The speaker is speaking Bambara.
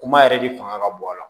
Kuma yɛrɛ de fanga ka bon a la